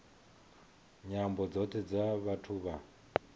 nyambo dzothe dza vhathu vha